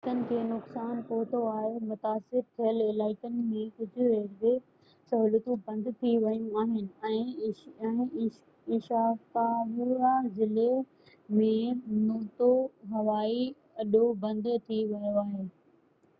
ڪجهہ رستن کي نقصان پهتو آهي متاثر ٿيل علائقن ۾ ڪجهہ ريلوي سهولتون بند ٿي ويون آهن ۽ عيشڪاوا ضلعي ۾ نوتو هوائي اڏو بند ٿي ويو آهي